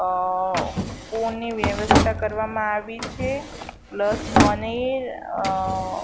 અ spoon ની વ્યવસ્થા કરવામાં આવી છે પ્લસ પનીર અ--